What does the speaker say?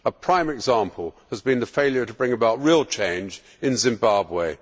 A prime example has been the failure to bring about real change in Zimbabwe.